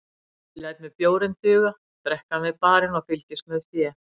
Ég læt mér bjórinn duga, drekk hann við barinn og fylgist með fé